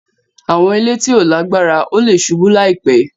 Awọn ile ti o lagbara; o le ṣubu laipe.